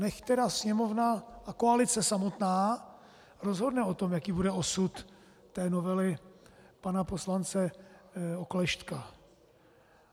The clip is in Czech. Nechť tedy Sněmovna a koalice samotná rozhodne o tom, jaký bude osud té novely pana poslance Oklešťka.